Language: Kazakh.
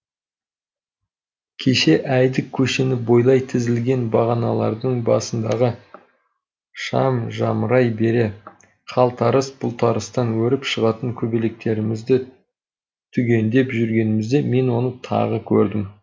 кешке әйдік көшені бойлай тізілген бағаналардың басындағы шам жамырай бере қалтарыс бұлтарыстан өріп шығатын көбелектерімізді түгендеп жүргенімізде мен оны тағы көрдім